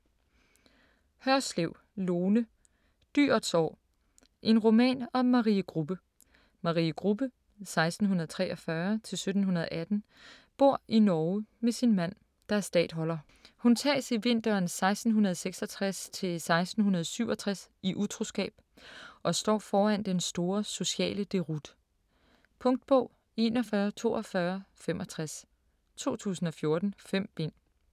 Hørslev, Lone: Dyrets år: en roman om Marie Grubbe Marie Grubbe (1643-1718) bor i Norge med sin mand, der er statholder. Hun tages i vinteren 1666-1667 i utroskab og står foran den store sociale deroute. Punktbog 414265 2014. 5 bind.